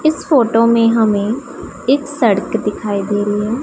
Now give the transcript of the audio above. इस फोटो में हमें एक सड़क दिखाई दे रही है।